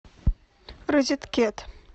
розеткед